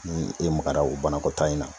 Ni i magara o banakɔtaa in na